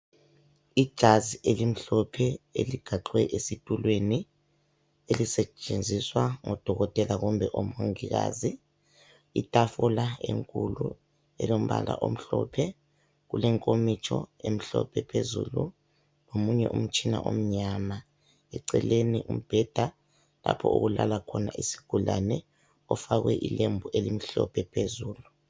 Ijazi elimhlophe eligaxwe esitulweni elisetshenziswa ngodokotela kumbe omongikazi. Itafula enkulu elombala omhlophe kulenkomitsho emhlophe phezulu lomunye umtshina omnyama. Eceleni umbheda lapho okulala khona izigulane kufakwe ilembu elimhlophe phezulu.